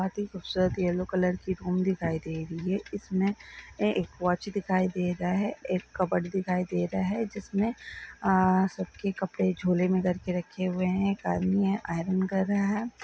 बहुत ही खूबसूरत येलो कलर की होम दिखाई दे रही हैं इसमें एक वॉच दिखाई दे रहा हैं एक कबर्ड दिखाई दे रहा हैं जिसमें आ सबके कपड़े झोले में डाल कर रखे हुए हैं एक आदमी हैं आयरन कर रहा हैं।